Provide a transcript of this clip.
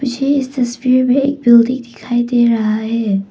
मुझे इस तस्वीर में एक बिल्डिंग दिखाई दे रहा है।